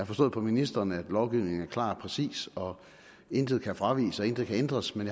forstået på ministeren at lovgivningen er klar og præcis og intet kan fraviges og intet kan ændres men